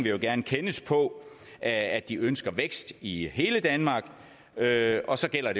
jo gerne kendes på at de ønsker vækst i hele danmark og så gælder